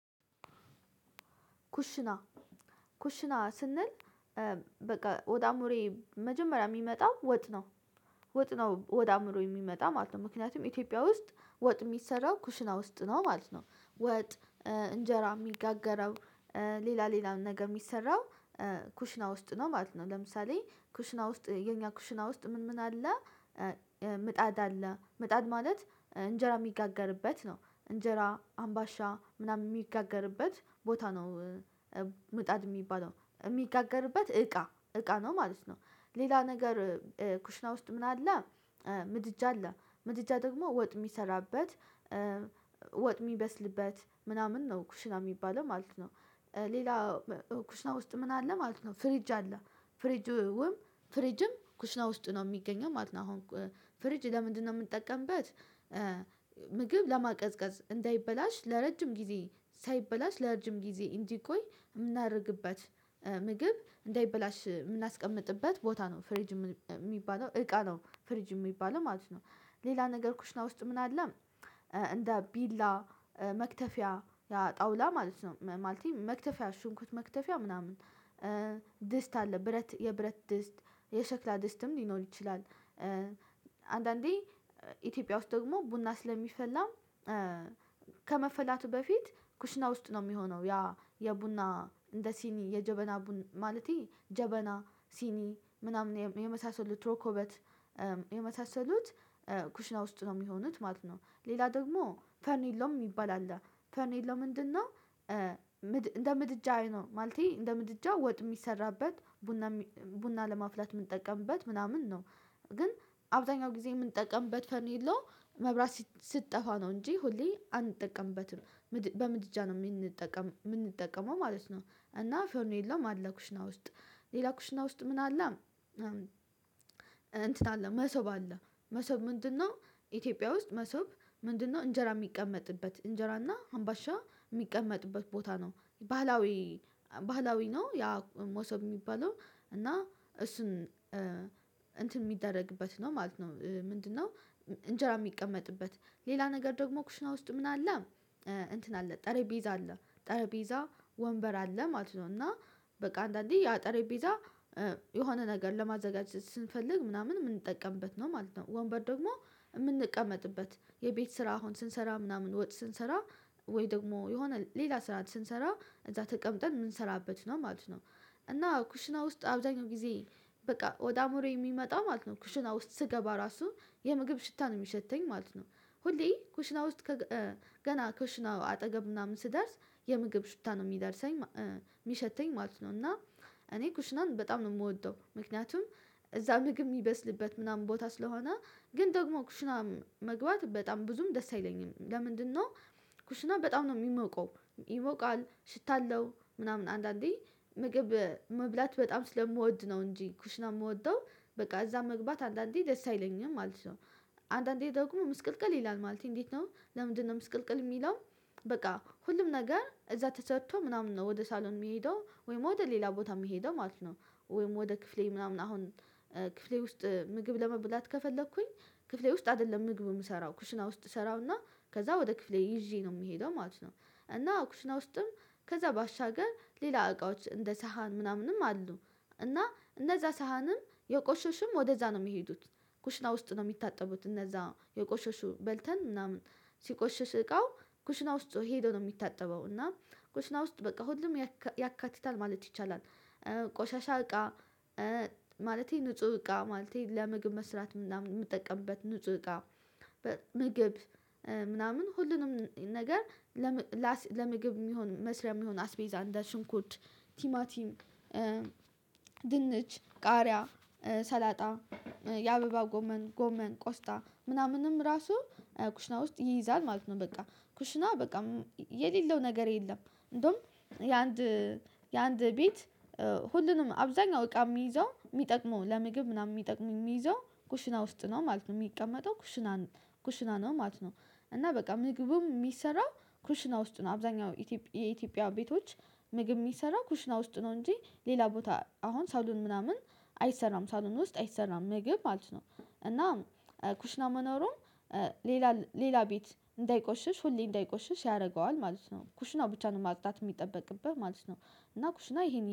ኩሽና ኩሽና ስንል በቃ ወደ አምሮየ መጀመሪያ የሚመጣው ወጥ ነው። ወጥ ነው ወደ አእምሮዬ የሚመጣ ማለት ነው ምክንያቱም ኢትዮጵያ ውስጥ ወጥ የሚሰራው ኩሽና ውስጥ ነው ማለት ነው። ወጥ እንጀራ የሚጋገረው። ሌላ ሌላ ነገ የሚሰራው ኩሽና ውስጥ ነው ማለት ነው። ለምሳሌ ኩሽና ውስጥ የኛ ኩሽና ውስጥ ምን ምን አለ? ምጣድ አለ ምጣድ ማለት እንጀራ የሚጋገርበት ነው እንጀራ አምባሻ ምናምን የሚጋገርበት ቦታ ነው። ምጣድ የሚባለው የሚጋገርበት እቃ እቃ ነው ማለት ነው። ሌላ ነገር ኩሽና ውስጥ ምን አለ? ምድጃ አለ ምድጃ ደግሞ ወጥ የሚሰራበት ወጥ የሚበስልበት ምናምን ነው ኩሽና የሚባለው ማለት ነው። ሌላ ኩሽና ውስጥ ምን አለ ማለት ነው ፍሪጅ አለ። ፍሪጅውም ፍሪጅም ኩሽና ውስጥ ነው የሚገኘው ማለት ነው። አሁን ፍሪጅ ለምንድነው የምንጠቀምበት? ምግብ ለማቀዝቀዝ እንዳይበላሽ ለረጅም ጊዜ ሳይበላሽ ለረጅም ጊዜ እንጂ ቆይ የምናደርግበት ምግብ እንዳይበላሽ የምናስቀምጥበት ቦታ ነው ፍሬጅ የሚባለው እቃ ነው ፍሪጅ የሚባለው ማለት ነው። ሌላ ነገር ኩሽና ውስጥ ምን አለ? እንደ ቢላ መክተፊያ ያ ጣውላ ማለት ነው ማለቴ መክተፊያ ሹንኩርት መክተፊያ ምናምን ድስት አለ ብረት የብረት ድስት የሸክላ ድስትም ሊኖር ይችላል። አንዳንዴ ኢትዮጵያ ውስጥ ደግሞ ቡና ስለሚፈላም። ከመፈላቱ በፊት ኩሽና ውስጥ ነው የሚሆነው ያ የቡና እንደ ሲኒ የጀበና ማለቴ ጀበና ሲኒ ምናምን የመሳሰሉ ሮኮበት የመሳሰሉት ኩሽና ውስጥ ነው የሚሆኑት ማለት ነው። ሌላ ደግሞ ፈርኒሎ ሚባል አለ። ፈርኒሎ ምንድነው? እንደ ምድጃዬ ነው ማለቴ እንደ ምድጃ ወጥ የሚሰራበት ቡና ቡና ለማፍላት የምንጠቀምበት ምናምን ነው። ግን አብዛኛው ጊዜ የምንጠቀምበት ፈርኒሎ መብራት ስትጠፋ ነው እንጂ ሁሌ አንጠቀምበትም። በምድጃ ነው የምንጠቀም የምንጠቀመው ማለት ነው። እና ፎርኒሎም አለ ኩሽና ውስጥ ሌላው ኩሽና ውስጥ ምን አለ? እንትን አለ መሰብ አለ። መሶብ ምንድነው? ኢትዮጵያ ውስጥ መሰብ ምንድነው? እንጀራ የሚቀመጥበት እንጀራ እና አምባሻ የሚቀመጥበት ቦታ ነው ባህላዊ ባህላዊ ነው ያ መሰብ የሚባለው። እና እሱን እንትን የሚደረግበት ነው ማለት ነው። ምንድነው? እንጀራ የሚቀመጥበት ሌላ ነገር ደግሞ ኩሽና ውስጥ ምን አለ? እንትን አለ ጠረጴዛ አለ ጠረጴዛ ወንበር አለ ማለት ነው። እና በቃ አንዳንዴ ያ ጠረጴዛ የሆነ ነገር ለማዘጋጀት ስንፈልግ ምናምን የምንጠቀምበት ነው ማለት ነው። ወንበር ደግሞ የምንቀመጥበት የቤት ስራ አሁን ስንሰራ ምናምን ወጥ ስንሰራ ወይ ደግሞ የሆነ ሌላ ስራ ስንሰራ እዛ ተቀምጠን የምንሰራበት ነው ማለት ነው። እና ኩሽና ውስጥ አብዛኛው ጊዜ በቃ ወደ አምሮየ ሚመጣው ማለት ነው ኩሽና ውስጥ ስገባ ራሱ የምግብ ሽታ ነው የሚሸተኝ ማለት ነው። ሁሌ ኩሽና ውስጥ ገና ኩሽና አጠገብ ምናምን ስደርስ የምግብ ሽታ ነው የሚደርሰኝ የሚሸተኝ ማለት ነው። እና እኔ ኩሽናን በጣም ነው የምወደው ምክንያቱም እዛ ምግብ የሚበስልበት ምናምን ቦታ ስለሆነ። ግን ደግሞ ኩሽናም መግባት በጣም ብዙም ደስ አይለኝም ለምንድነው? ኩሽና በጣም ነው የሚሞቀው። ይሞቃል ሽታ አለው ምናምን አንዳንዴ ምግብ መብላት በጣም ስለምወድ ነው እንጂ ኩሽና የምወደው በቃ እዛ መግባት አንዳንዴ ደስ አይለኝም ማለት ነው። አንዳንዴ ደግሞ ምስቅልቅል ይላል ማለቴ እንዴት ነው ለምንድነው ምስቅልቅል የሚለው? በቃ ሁሉም ነገር እዛ ተሰርቶ ምናምን ነው ወደ ሳሎን የሚሄደው ወይም ወደ ሌላ ቦታ የሚሄደው ማለት ነው። ወይም ወደ ክፍሌ ምናምን አሁን ክፍሌ ውስጥ ምግብ ለመብላት ከፈለኩኝ ክፍሌ ውስጥ አይደለም ምግብ የምሰራው ኩሽና ውስጥ እሰራውና ከዛ ወደ ክፍሌ ይዤ ነው የምሄደው ማለት ነው። እና ኩሽና ውስጥም ከዛ ባሻገር ሌላ እቃዎች እንደ ሰሃን ምናምንም አሉ። እና እነዛ ሳህንም የቆሸሽም ወደዛ ነው የሚሄዱት። ኩሽና ውስጥ ነው የሚታጠቡት እነዛ የቆሸሹ በልተን ምናምን ሲቆሽሽ እቃው ኩሽና ውስጥ ሄዶ ነው የሚታጠበው። እና ኩሽና ውስጥ በቃ ሁሉም ያካትታል ማለት ይቻላል። ቆሻሻ እቃ ማለቴ ንጹህ እቃ ማለቴ ለምግብ መስራት ምናምን የምትጠቀምበት ንጹህ እቃ ምግብ ምናምን ሁሉንም ነገር ለምግብ የሚሆን መስሪያ የሚሆን አስቤዛ እንደ ሽንኩት ቲማቲም ድንች ቃሪያ ሰላጣ የአበባ ጎመን ጎመን ቆስጣ ምናምንም ራሱ ኩሽና ውስጥ ይይዛል ማለት ነው። በቃ ኩሽና በቃ የሌለው ነገር የለም። እንደውም የአንድ የአንድ ቤት ሁሉንም አብዛኛው እቃ የሚይዘው የሚጠቅመው ለምግብ ምናምን የሚጠቅመው የሚይዘው ኩሽና ውስጥ ነው ማለት ነው። የሚቀመጠው ኩሽና ኩሽና ነው ማለት ነው። እና በቃ ምግቡም የሚሰራው ክሩሽና ውስጥ ነው አብዛኛው የኢትዮጵያ ቤቶች ምግብ የሚሰራ ኩሽና ውስጥ ነው። እንጂ ሌላ ቦታ አሁን ሳሎን ምናምን አይሰራም ሳሎን ውስጥ አይሰራም ምግብ ማለት ነው። እና ኩሽና መኖሩም ሌላ ሌላ ቤት እንዳይቆሽሽ ሁሌ እንዳይቆሽሽ ያደርገዋል ማለት ነው ኩሽናው ብቻ ነው ማጽዳት የሚጠበቅብህ ማለት ነው። እና ኩሽና ይሄን